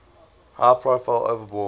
high profile overbore